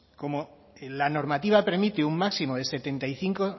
como en la normativa permite un máximo de setenta y cinco